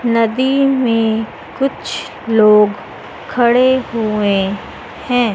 नदी में कुछ लोग खड़े हुए हैं।